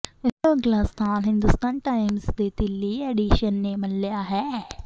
ਇਸ ਤੋਂ ਅਗਲਾ ਸਥਾਨ ਹਿੰਦੁਸਤਾਨ ਟਾਈਮਜ਼ ਦੇ ਦਿੱਲੀ ਐਡੀਸ਼ਨ ਨੇ ਮੱਲਿਆ ਹੈ